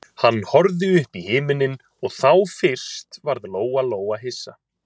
Hann horfði upp í himininn og þá fyrst varð Lóa-Lóa hissa.